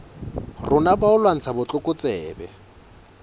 rona ba ho lwantsha botlokotsebe